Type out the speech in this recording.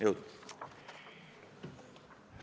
Jõudu!